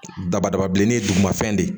Dabadaba bilenni ye duguma fɛn de